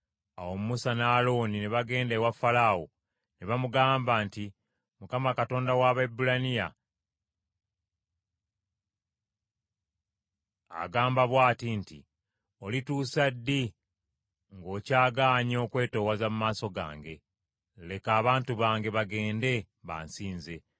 Awo Musa ne Alooni ne bagenda ewa Falaawo, ne bamugamba nti, “ Mukama Katonda wa Abaebbulaniya n’agamba bw’ati nti, ‘Olituusa ddi ng’okyagaanye okwetoowaza mu maaso gange? Leka abantu bange bagende, bansinze.